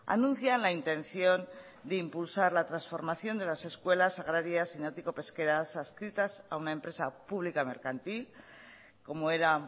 anuncian la intención de impulsar la transformación de las escuelas agrarias y náutico pesqueras adscritas a una empresa pública y mercantil como era